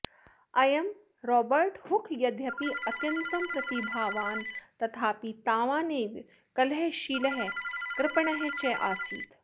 अयं Robert Hooke यद्यपि अत्यन्तं प्रतिभावान् तथापि तावानेव कलहशीलः कृपणः च आसीत्